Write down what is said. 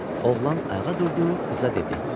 Oğlan ayağa durdu, qıza dedi: